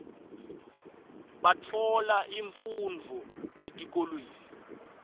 batfola imfundvo etikolweni